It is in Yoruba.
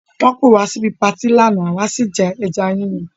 Wọ́n pé wá síbi patí lánàá àwa sì jẹ ẹja Yíyan